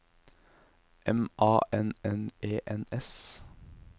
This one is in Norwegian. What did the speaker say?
M A N N E N S